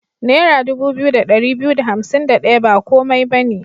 Naira dubu biyu da ɗari biyu da hansim da ɗaya ba komai ba ne.